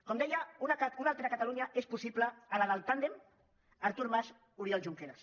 com deia una altra catalunya és possible a la del tàndem artur mas oriol junqueras